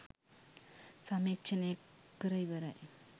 සමීක්ෂණය කර ඉවරයි